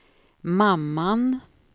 mamman